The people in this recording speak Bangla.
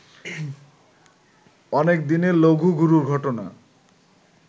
অনেক দিনে লঘু-গুরু ঘটনা